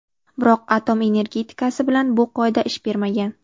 Biroq atom energetikasi bilan bu qoida ish bermagan.